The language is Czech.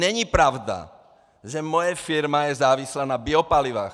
Není pravda, že moje firma je závislá na biopalivech.